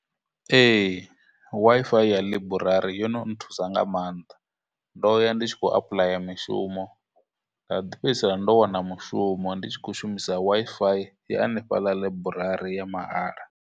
Ee, Wi-Fi ya library yo no nthusa nga maanḓa, ndo ya ndi tshi khou apuḽaya mishumo, nda ḓi fhedzisela ndo wana mushumo ndi tshi khou shumisa Wi-Fi ya hanefhaḽa library ya mahala.